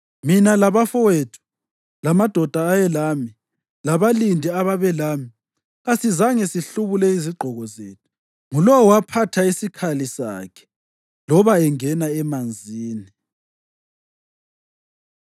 Mina labafowethu, lamadoda ayelami, labalindi ababelami kasizange sihlubule izigqoko zethu; ngulowo waphatha isikhali sakhe loba engena emanzini.